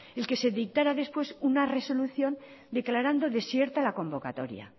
es que se dictara después una resolución declarando desierta la convocatoria